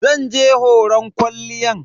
Zan je horon kwalliyan.